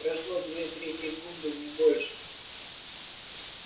прошло две-три секунды не больше